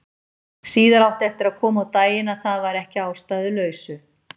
Síðar átti eftir að koma á daginn að það var ekki að ástæðulausu.